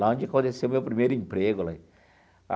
Lá onde aconteceu meu primeiro emprego.